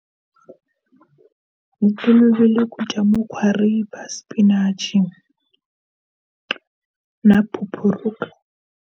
Hi tolovele ku dya mukhwariba, spinach na phuphuruka.